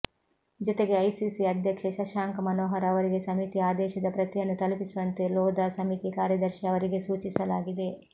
ಜೊತೆಗೆ ಐಸಿಸಿ ಅಧ್ಯಕ್ಷ ಶಸಾಂಕ್ ಮನೋಹರ್ ಅವರಿಗೆ ಸಮಿತಿಯ ಆದೇಶದ ಪ್ರತಿಯನ್ನು ತಲುಪಿಸುವಂತೆ ಲೋಧಾ ಸಮಿತಿ ಕಾರ್ಯದರ್ಶಿ ಅವರಿಗೆ ಸೂಚಿಸಲಾಗಿದೆ